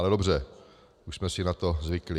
Ale dobře, už jsme si na to zvykli.